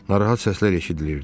Narahat səslər eşidilirdi.